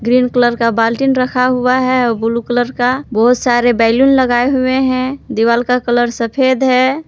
Green colour का बाल्टी रखा हुआ है और ब्लू कलर बहुत सारे बैलून लगाए हुए हैं दीवार का कलर सफेद है।